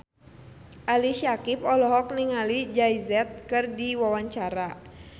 Ali Syakieb olohok ningali Jay Z keur diwawancara